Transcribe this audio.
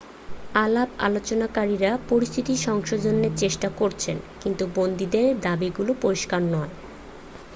আলাপালোচনকারীরা পরিস্থিতি সংশোধনের চেষ্টা করছেন কিন্তু বন্দীদের দাবিগুলো পরিষ্কার নয়